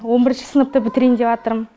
он бірінші сыныпты бітірейін деватырм